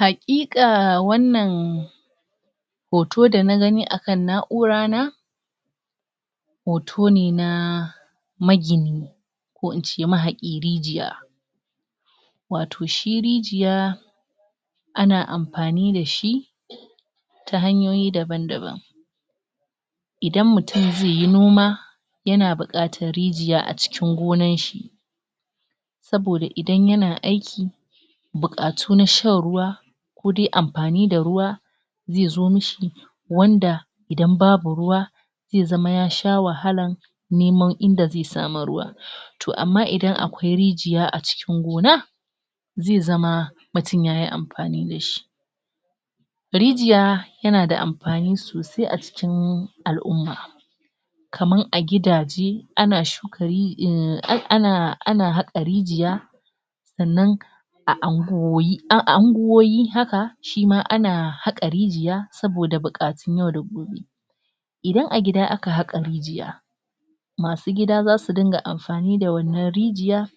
Haƙiƙa wannan hoto da na gani a kan na'ura na hoto ne na magini. ko in ce mahaƙin rijiya wato shi rijiya ana amfani da shi ta hanyoyi daban-daban. Idan mutm zai yi noma, yana buƙatar rijiya a cikin gonarshi saboda idan yana aiki buƙatu na shan ruwa ko dai amfani da ruwa, zai zo mi shi wanda idan babu ruwa zai zama ya sha wahala nemo inda zai samu ruwa. To amma idan akwai rijiya a cikin gona,a zai zama mutum ya yi amfani da shi. Rijiya yana da amfani sosai a cikin al'umma Kamar a gidaje ana shuka ri, ana ana haƙa rijiya sannan a unguwanni a anguwoyi haka shima ana haƙa rijiya saboda buƙatun yau da gobe. Idan a gida aka haƙa rijiya, masu gida za su dinga amfani da wannan rijiya